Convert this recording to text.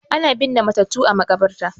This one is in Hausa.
Ana binne matattu a makabarta